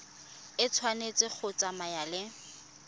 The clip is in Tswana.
e tshwanetse go tsamaya le